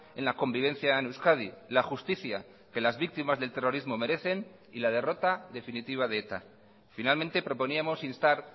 en la convivencia en euskadi la justicia que las víctimas del terrorismo merecen y la derrota definitiva de eta finalmente proponíamos instar